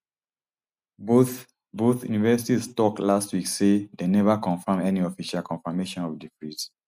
both both universities tok last week say dem neva confam any official confirmation of di freeze